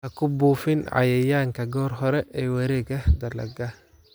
Ha ku buufin cayayaanka goor hore ee wareegga dalagga.